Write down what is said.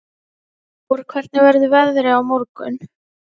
Tór, hvernig verður veðrið á morgun?